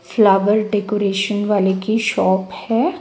Flower decoration वाले की shop है।